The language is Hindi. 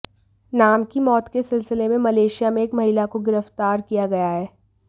नाम की मौत के सिलसिले में मलेशिया में एक महिला को गिरफ़्तार किया गया है